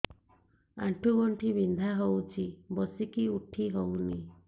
ଆଣ୍ଠୁ ଗଣ୍ଠି ବିନ୍ଧା ହଉଚି ବସିକି ଉଠି ହଉନି